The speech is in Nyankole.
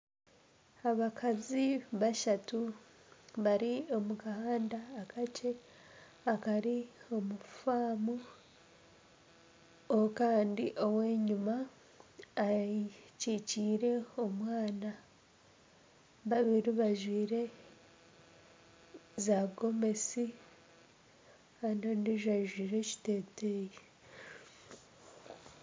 Abakazi bashatu bari omu kahanda akakye akari omu famu Kandi ow'enyima akyikyiire omwaana. Babiri bajwire za gomosi Kandi ondijo ajwire ekiteteyi.